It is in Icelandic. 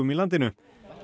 í landinu